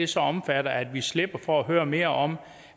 så omfatter at vi slipper for at høre mere om